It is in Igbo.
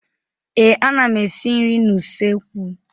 Ee, ana m esi nri n'usekwu.